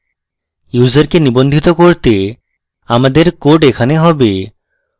ইউসারকে নিবন্ধিত করতে আমাদের code এখানে হবে